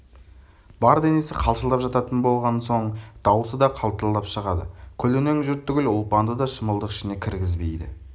бар денесі қалшылдап жататын болған соң даусы да қалтылдап шығады көлденең жұрт түгіл ұлпанды да шымылдық ішіне кіргізбейді